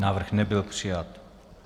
Návrh nebyl přijat.